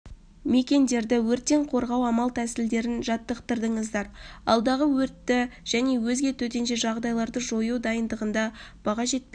мекендерді өрттен қорғау амал-тәсілдерін жаттықтырдыңыздар алдағы өртті және өзге төтенше жағдайларды жою дайындығында баға жетпес